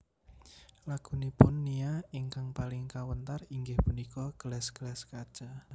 Lagunipun Nia ingkang paling kawentar inggih punika Gelas gelas Kaca